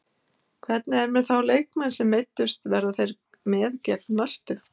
Hvernig er með þá leikmenn sem meiddust verða þeir með gegn Möltu?